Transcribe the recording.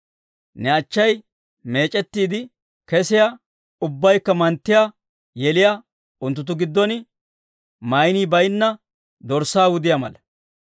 Ne achchay meec'ettiide kesiyaa, ubbaykka manttiyaa yeliyaa, unttunttu giddon maynii bayinna dorssaa wudiyaa mala.